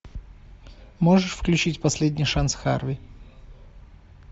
можешь включить последний шанс харви